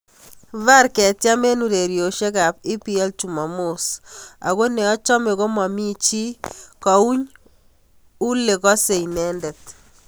VAR ketiem eng ureriosek ab EPL chumamos " ako neochome komamichi kouny ule kose inendet."